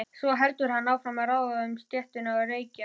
Svo heldur hann áfram að ráfa um stéttina og reykja.